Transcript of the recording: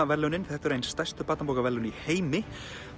verðlaunin þetta eru ein stærstu barnabókaverðlaun í heimi